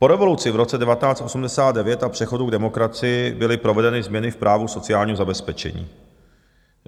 Po revoluci v roce 1989 a přechodu k demokracii byly provedeny změny v právu sociálního zabezpečení.